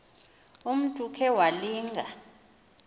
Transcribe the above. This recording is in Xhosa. umntu okhe walinga